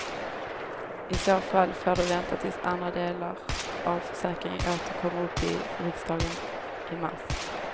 I så fall får det vänta tills andra delar av försäkringen åter kommer upp i riksdagen i mars.